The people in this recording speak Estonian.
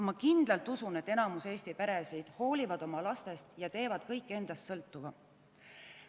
Ma kindlalt usun, et enamik Eesti peresid hoolivad oma lastest ja teevad kõik endast sõltuva.